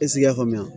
Esigi i y'a faamuya